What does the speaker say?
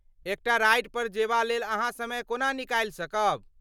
एकटा राइडपर जेबा लेल अहाँ समय कोना निकालि सकब?